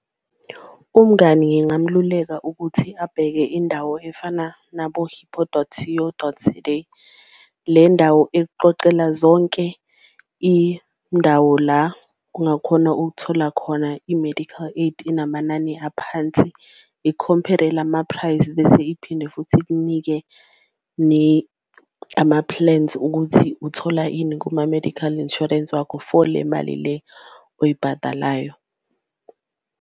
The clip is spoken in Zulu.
Umngani ngingamluleka ukuthi abheke indawo efana nabo Hippo dot C_O dot Z_A le ndawo ekuqoqela zonke indawo la ungakhona ukuthola khona i-medical aid enamanani aphansi. Ikhompere lama-price bese iphinde futhi ikunike ama-plans ukuthi uthola ini kuma-medical insurance wakho for le mali le oyibhadalayo.